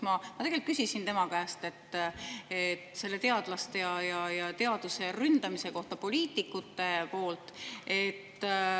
Ma küsisin tema käest teadlaste ja teaduse ründamise kohta poliitikute poolt.